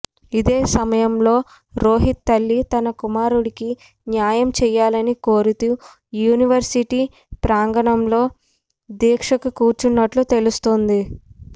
ఇదే సమయంలో రోహిత్ తల్లి తన కుమారుడికి న్యాయం చేయాలని కోరుతూ యూనివర్సిటీ ప్రాంగణంలో దీక్షకి కూర్చోన్నట్లు తెలుస్తోంది